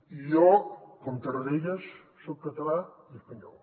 i jo com tarradellas soc català i espanyol